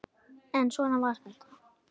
En svona var þetta.